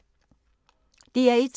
DR1